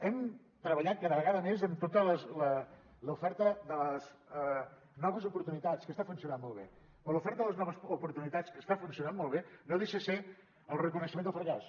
hem treballat cada vegada més amb tota l’oferta de les noves oportunitats que està funcionant molt bé però l’oferta de les noves oportunitats que està funcionant molt bé no deixa de ser el reconeixement del fracàs